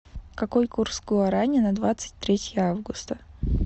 какой курс гуарани на двадцать третье августа